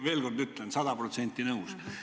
Veel kord ütlen: sada protsenti nõus.